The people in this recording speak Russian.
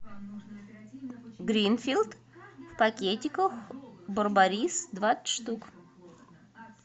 гринфилд в пакетиках барбарис двадцать штук